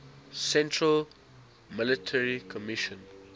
central military commission